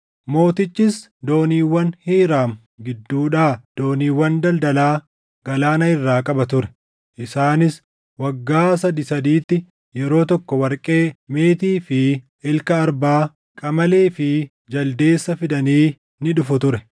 Mootichis dooniiwwan Hiiraam gidduudhaa dooniiwwan daldalaa galaana irraa qaba ture. Isaanis waggaa sadii sadiitti yeroo tokko warqee, meetii fi ilka arbaa, qamalee fi jaldeessa fidanii ni dhufu ture.